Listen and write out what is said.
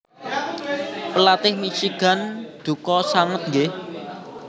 Pelatih Michigan duka sanget nggih